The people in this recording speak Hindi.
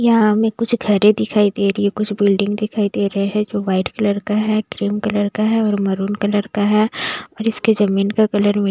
यहाँ हमें कुछ घरें दिखाई दे रही हैं कुछ बिल्डिंग दिखाई दे रहे हैं जो वाइट कलर का है क्रीम कलर का है और मैरून कलर का है और इसके ज़मीन का कलर मी --